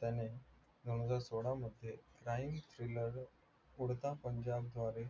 त्याने दोनहजार सोळामध्ये crime उडता पंजाब द्वारे